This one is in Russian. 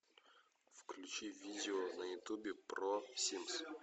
включи видео на ютубе про симс